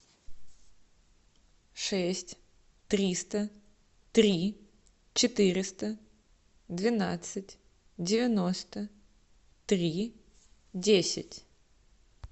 шесть триста три четыреста двенадцать девяносто три десять